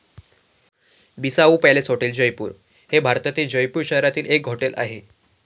Bissau palace hotel, Jaipur हे भारतातील जयपूर शहरातील एक हॉटेल आहे.